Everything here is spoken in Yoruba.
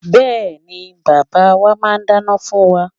Bẹ́ẹ̀ni, bàbá wa máa ń dáná fún wa.